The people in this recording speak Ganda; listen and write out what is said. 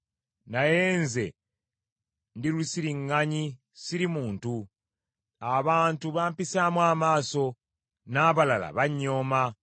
Naye nze ndi lusiriŋŋanyi, siri muntu; abantu bampisaamu amaaso, n’abalala bannyooma.